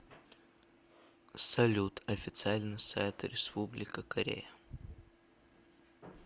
салют официальный сайт республика корея